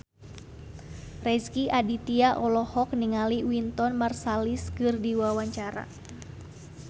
Rezky Aditya olohok ningali Wynton Marsalis keur diwawancara